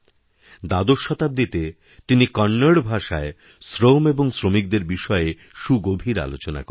দ্বাদশ শতাব্দীতে তিনিকন্নড় ভাষায় শ্রম এবং শ্রমিকদের বিষয়ে সুগভীর আলোচনা করেছেন